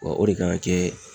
Wa o de kan ka kɛ